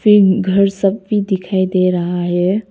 फिर घर सब भी दिखाई दे रहा हैं।